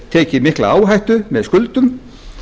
tekið mikla áhættu með skuldum